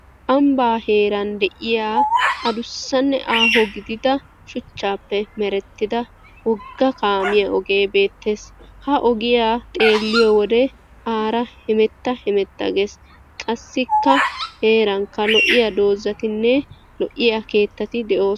Ambba heeran de'iya addussanne aaho gidida chuchchappe merettida wogga kaamiyaa oge beettees. Ha ogiyaa xeelliyo wode aara hemetta hemetta gees. Qassikka heerankka lo"iya doozatiine lo"iya keettati doosona.